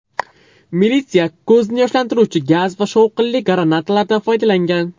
Militsiya ko‘zni yoshlantiruvchi gaz va shovqinli granatalardan foydalangan.